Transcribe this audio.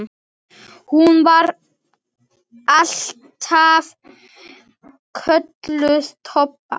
Hún var alltaf kölluð Tobba.